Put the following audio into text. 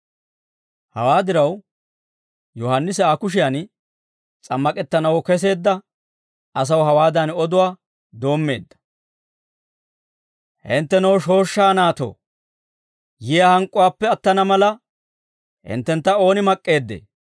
Hawaa diraw Yohaannisi Aa kushiyan s'ammak'ettanaw keseedda asaw hawaadan oduwaa doommeedda, «Henttenoo, shooshshaa naatoo; yiyaa hank'k'uwaappe attana mala hinttentta ooni mak'k'eeddee?